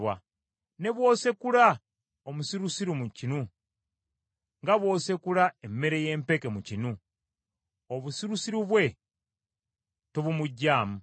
Ne bw’osekula omusirusiru mu kinu, nga bw’osekula emmere y’empeke mu kinu, obusirusiru bwe tobumuggyaamu.